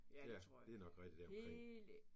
Ja. Det er nok rigtigt deromkring